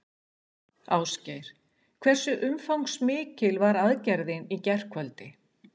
Ásgeir, hversu umfangsmikil var aðgerðin í gærkvöldi?